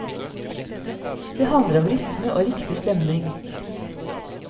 Det handler om rytme og riktig stemning.